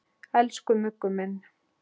Elsku Muggur minn.